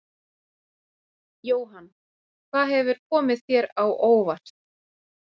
Jóhann: Hvað hefur komið þér á óvart?